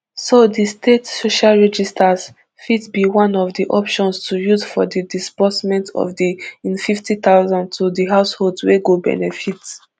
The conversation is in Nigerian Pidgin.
so di state social registers fit be one of di options to use for di disbursement of di nfifty thousand to di housholds wey go benefit